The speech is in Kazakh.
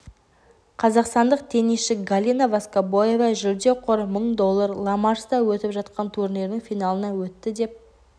қазақстандық теннисші галина воскобоева жүлде қоры мың доллар ла марста өтіп жатқан турнирінің финалына өтті деп